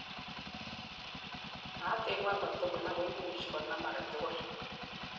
naat en ngwony katugul, ako imuchi konam agetugul